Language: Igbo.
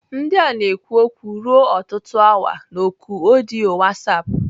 Ndị a na-ekwu okwu ruo ọtụtụ awa na oku ọdịyo WhatsApp.